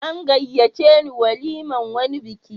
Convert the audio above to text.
An gayyace ni walimar wani biki.